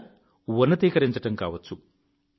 లేదా ఉన్నతీకరించడం కావచ్చు